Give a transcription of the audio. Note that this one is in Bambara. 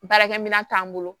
Baarakɛminɛn t'an bolo